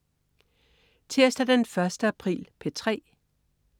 Tirsdag den 1. april - P3: